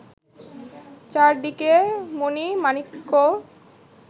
চারিদিকে মণি-মাণিক্য